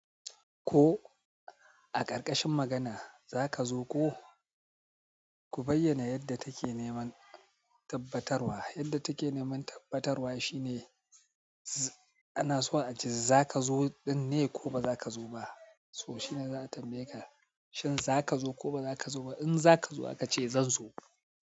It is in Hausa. Ko a ƙarƙashin magana za ka zo ko? Ku bayyana yadda take neman tabbatarwa. Yadda take neman tabbatarwa shine, ana so a ce za ka zo ɗin ne ko ba za ka zo ba. To shine za a tambaye ka, shin za ka zo ko ba za ka zo ba? In za ka zo aka ce zan zo.